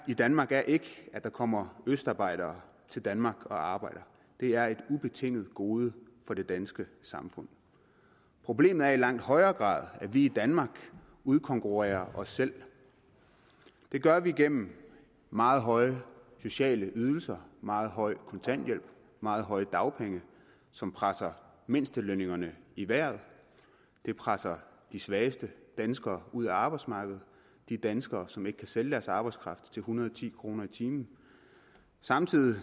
i danmark er ikke at der kommer østarbejdere til danmark og arbejder det er et ubetinget gode for det danske samfund problemet er i langt højere grad at vi i danmark udkonkurrerer os selv det gør vi igennem meget høje sociale ydelser meget høj kontanthjælp og meget høje dagpenge som presser mindstelønningerne i vejret det presser de svageste danskere ud af arbejdsmarkedet de danskere som ikke kan sælge deres arbejdskraft til en hundrede og ti kroner i timen samtidig